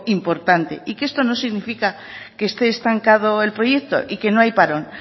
importante y que esto no significa que esté estancado el proyecto y que no hay parón